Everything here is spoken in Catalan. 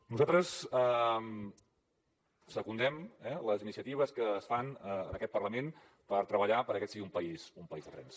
nosaltres secundem les iniciatives que es fan en aquest parlament per treballar perquè aquest sigui un país de trens